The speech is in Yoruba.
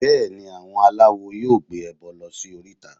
Bẹ́ẹ̀ni, àwọn aláwo yóò gbé ẹbọ lọ sí oríta